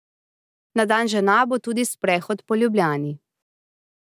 Na dan žena bo tudi sprehod po Ljubljani.